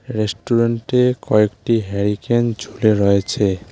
রেস্টুরেন্টে কয়েকটি হ্যারিকেন ঝুলে রয়েছে।